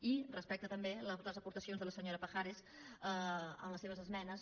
i respecte també a les aportacions de la senyora pajares amb les seves esmenes